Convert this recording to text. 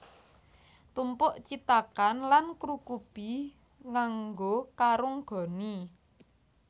Tumpuk cithakan lan krukubi nganggo karung goni